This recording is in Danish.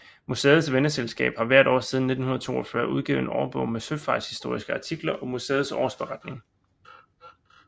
Museets venneselskab har hvert år siden 1942 udgivet en årbog med søfartshistoriske artikler og museets årsberetning